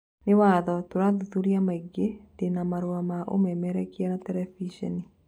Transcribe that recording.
Nĩ watho, thuthuria maingĩ ndĩna marũa ma ũmemerekia na terebiceni